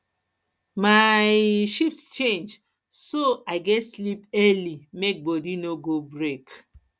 my um shift change so i gats sleep early make body body no go break